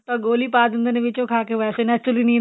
ਤਾਂ ਗੋਲੀ ਪਾ ਦਿੰਦੇ ਨੇ ਵਿੱਚ ਉਹ ਖਾ ਕੇ ਵੈਸੇ ਹੀ natural ਨੀਂਦ